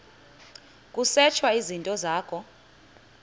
kusetshwe izinto zakho